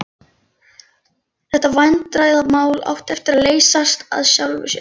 Basaltvikur og aska eru ávallt dökk eða svört að lit.